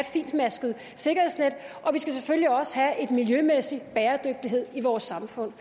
fintmasket sikkerhedsnet og vi skal selvfølgelig også have miljømæssig bæredygtighed i vores samfund